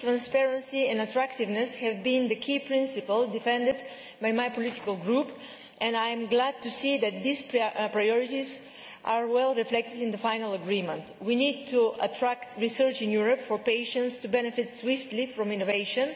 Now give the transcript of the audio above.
Safety, transparency and attractiveness have been the key principles defended by my political group and I am glad to see that these priorities are well reflected in the final agreement. We need to attract research in Europe for patients to benefit swiftly from innovation.